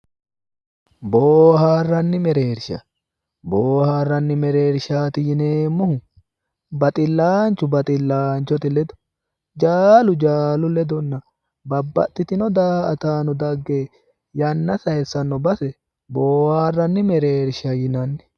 Booharranni mereersha, booharranni mereershaati yineemmohu baxillaanchu baxillaanchote ledo, jaalu jaalu ledonna babbaxitinno daa'ataanno dagge yanna sayiissanno base boohaarranni mereershsha yinanni.